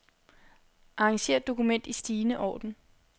Arranger dokument i stigende orden.